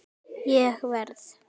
Ég verð.